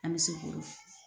An bɛ se k'o